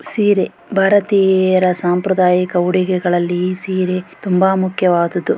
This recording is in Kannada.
ಸೀರೆ ಭಾರತೀಯರ ಸಂಪ್ರದಾಯಿಕ ಉಡುಗೆಗಳ್ಳಲಿ ಸೀರೆ ತುಂಬಾ ಮುಖ್ಯವಾದದ್ದು.